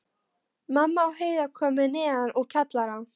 Mamma og Heiða komu neðan úr kjallara.